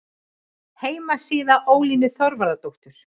Heimasíða Ólínu Þorvarðardóttur